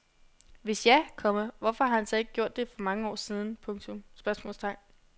Hvis ja, komma hvorfor har man så ikke gjort det for mange år siden? spørgsmålstegn